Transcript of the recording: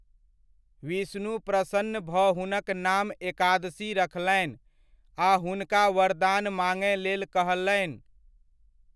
विष्णु प्रसन्न भऽ हुनक नाम एकादशी रखलनि आ हुनका वरदान माङय लेल कहलनि।